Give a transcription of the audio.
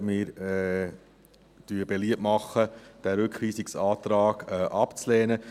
Wir machen beliebt, diesen Rückweisungsantrag abzulehnen.